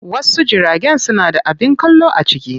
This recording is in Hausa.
Wasu jiragen suna da abin kallo a ciki.